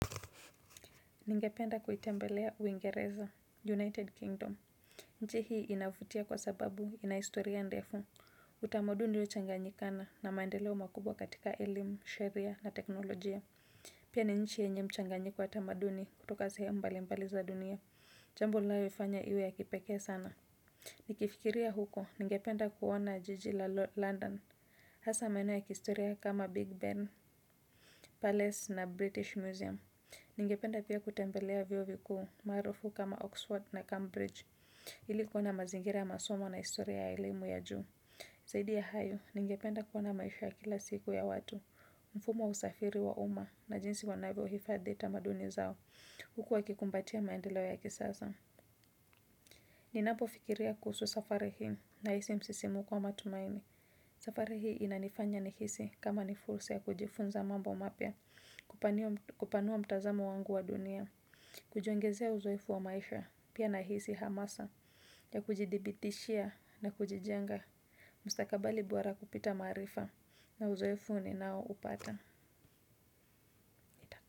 Ningependa kuitembelea uingereza United Kingdom. Nchi hii inavutia kwa sababu inahistoria ndefu utamaduniuliyo changanyikana na maendeleo makubwa katika elimu sheria na teknolojia. Pia ni nchi yenye mchanganyiko watamaduni kutoka sehemumbali mbali za dunia jambo linayo ifanya iwe ya kipekee sana. Nikifikiria huko ningependa kuona jiji la London hasa maeneo ya kihistoria kama Big Ben, Palace na British Museum. Ningependa pia kutembelea vyuo vikuu maarufu kama Oxford na Cambridge ili kuona mazingira ya masomo na historia ya elimu ya juu. Zaidi ya hayo, ningependa kuona maisha ya kila siku ya watu. Mfumowa usafiri wa umma na jinsi wanavyo hifadhita maduni zao huku wakikumbatia maendeleo ya kisasa ninapo fikiria kuhusu safari hii na hisi msisimko wa matumaini. Safari hii inanifanya nihisi kama ni fursa ya kujifunza mambo mapya. Kupanua mtazamo wangu wa dunia kujiongezea uzoefu wa maisha, pia nahisi hamasa, ya kujidhibitishia na kujijenga, mstakabali bora kupita maarifa na uzoefu ni nao upata.